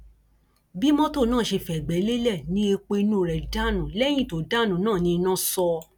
bí mọtò náà ṣe fẹgbẹ lélẹ ni epo inú rẹ dànù lẹyìn tó dànù náà ní iná sọ